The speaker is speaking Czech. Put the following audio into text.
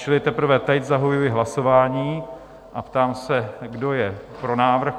Čili teprve teď zahajuji hlasování a ptám se, kdo je pro návrh?